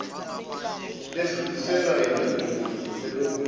ledluliselwa endodeni elobolile